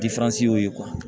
y'o ye